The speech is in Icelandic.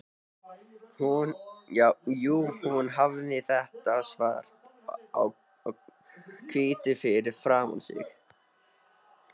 Jú, hún hafði þetta svart á hvítu fyrir framan sig.